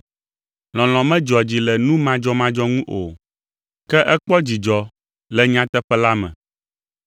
Lɔlɔ̃ medzɔa dzi le nu madzɔmadzɔ ŋu o, ke ekpɔa dzidzɔ le nyateƒe la me.